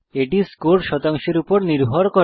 এটি স্কোর শতাংশের উপর নির্ভর করে